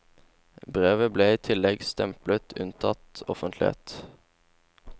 Brevet ble i tillegg stemplet unntatt offentlighet.